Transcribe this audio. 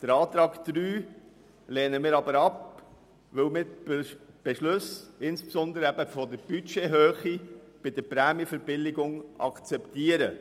Den Antrag 3 lehnen wir ab, weil wir die Beschlüsse insbesondere der Budgethöhe bei der Prämienverbilligung akzeptieren.